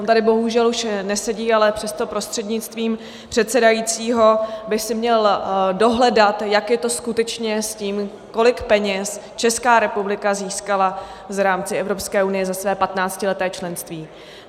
On tady bohužel už nesedí, ale přesto prostřednictvím předsedajícího by si měl dohledat, jak je to skutečně s tím, kolik peněz Česká republika získala v rámci Evropské unie za své patnáctileté členství.